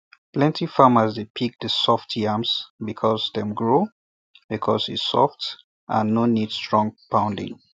plenty farmers dey pick the soft yams before dem um grow um because e soft and um no need strong pounding